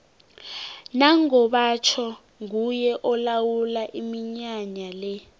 nango batjho nguye olawula iminyanya le